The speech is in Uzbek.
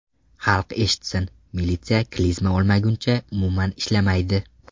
Xalq eshitsin, militsiya klizma olmaguncha umuman ishlamaydi.